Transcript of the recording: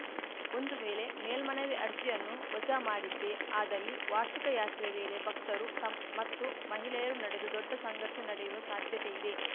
ಒಂದು ವೇಲೆ ಮೇಲ್ಮನವಿ ಅರ್ಜಿಯನ್ನು ವಜಾ ಮಾಡಿದ್ದೇ ಆದಲ್ಲಿ ವಾರ್ಷಿಕ ಯಾತ್ರೆ ವೇಲೆ ಭಕ್ತರು ತಮ್ ಮತ್ತು ಮಹಿಲೆಯರ ನಡುವೆ ದೊಡ್ಡ ಸಂಘರ್ಷ ನೆಯುವ ಸಾಧ್ಯತೆ ಇದೆ